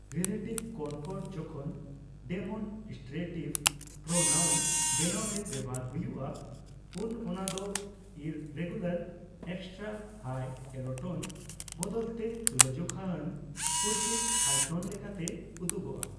Relative concord ᱡᱚᱠᱷᱚᱱ demonstrative pronoun ᱵᱮᱱᱟᱣ ᱨᱮ ᱵᱮᱣᱦᱟᱨ ᱦᱳᱭᱩᱳᱜᱼᱟ ᱩᱱ ᱚᱱᱟᱫᱚ ᱤᱨᱨᱮᱜᱩᱞᱟᱨ ᱮᱠᱥᱴᱨᱟᱼᱦᱟᱭ ᱮᱞᱳᱴᱳᱱ ᱵᱚᱫᱚᱞ ᱛᱮ ᱛᱩᱞᱟᱹᱡᱚᱠᱷᱟ ᱟᱱ ᱯᱩᱨᱠᱤᱛ ᱦᱟᱭ ᱴᱳᱱ ᱞᱮᱠᱟᱛᱮ ᱩᱫᱩᱜᱚᱜᱼᱟ ᱾